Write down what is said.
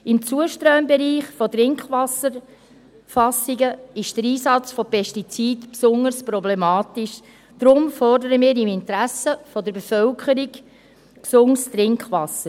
Im Zuströmbereich von Trinkwasserfassungen ist der Einsatz von Pestiziden besonders problematisch, deshalb fordern wir im Interesse der Bevölkerung gesundes Trinkwasser.